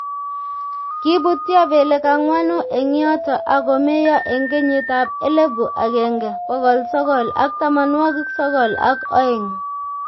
Kiibutyo belek ang'wanu eng yoto ak komeiyo eng kenyitab elebu agenge ,bokol sokol at tamanwokik sokol ak oeng .